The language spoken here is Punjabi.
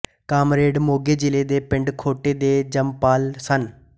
ਕਾਮਰੇਡ ਮੋਗੇ ਜਿਲ੍ਹੇ ਦੇ ਪਿੰਡ ਖੋਟੇ ਦੇ ਜਮਪਲ ਸਨ